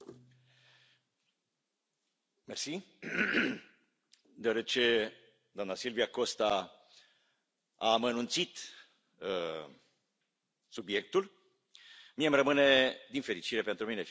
Doamnă președintă, deoarece doamna Silvia Costa a amănunțit subiectul, mie îmi rămâne din fericire pentru mine, firește o privire de ansamblu.